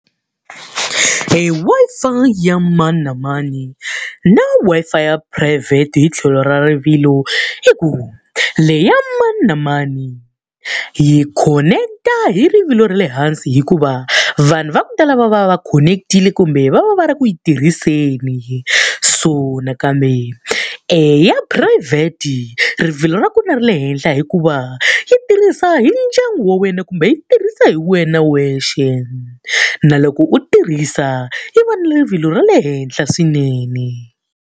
E Wi-Fi ya mani na mani na Wi-Fi ya phurayivhete hi tlhelo ra rivilo i ku, leyi ya mani na mani yi khoneketa hi rivilo ra le hansi hikuva, vanhu va ku tala va va va va khoneketile kumbe va va va ri ku yi tirhiseni. So nakambe ya phurayivhete rivilo ra ku na ra le henhla hikuva, yi tirhisa hi ndyangu wa wena kumbe yi tirhisa hi wena wexe. Na loko u tirhisa yi va ni rivilo ra le henhla swinene.